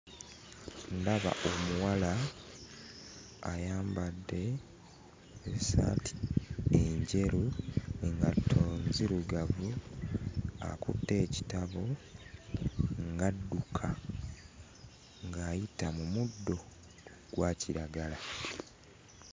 Ndaba omuwala ayambadde essaati enjeru, engatto nzirugavu akutte ekitabo ng'adduka ng'ayita mu muddo ogwa kiragala.